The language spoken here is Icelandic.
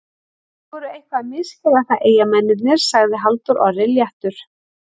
Þeir voru eitthvað að misskilja það Eyjamennirnir, sagði Halldór Orri léttur.